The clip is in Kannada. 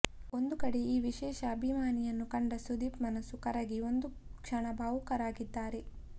ಒಂದು ಕಡೆ ಈ ವಿಶೇಷ ಅಭಿಮಾನಿಯನ್ನು ಕಂಡ ಸುದೀಪ್ ಮನಸ್ಸು ಕರಗಿ ಒಂದು ಕ್ಷಣ ಭಾವುಕರಾಗಿದ್ದಾರೆ